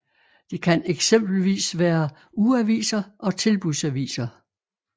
Det kan eksempelvis være ugeaviser og tilbudsaviser